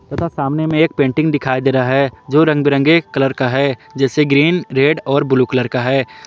तथा सामने में एक पेंटिंग दिखाई दे रहा है जो रंगबिरंगे कलर का है जैसे ग्रीन रेड और ब्लू कलर का है।